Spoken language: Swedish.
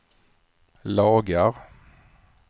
lagar